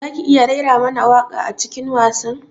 Zaki iya raira mana waƙa a cikin wasan?